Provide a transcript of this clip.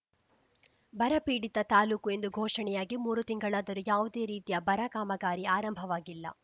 ಬರ ಪೀಡಿತ ತಾಲೂಕು ಎಂದು ಘೋಷಣೆಯಾಗಿ ಮೂರು ತಿಂಗಳಾದರೂ ಯಾವುದೇ ರೀತಿಯ ಬರ ಕಾಮಗಾರಿ ಆರಂಭವಾಗಿಲ್ಲ